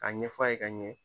Kaa ɲɛf'a ye ka ɲɛ.